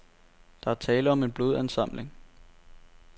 Der er tale om en blodansamling.